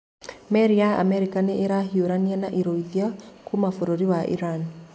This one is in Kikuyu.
Meri ya Amerika nĩ ĩrahiũrania na irũithia kuuma bũrũri wa Iran.